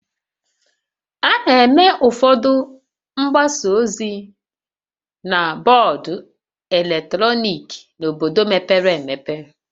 A na-eme ụfọdụ mgbasa ozi na bọọdụ eletrọnịkị n'obodo mepere emepe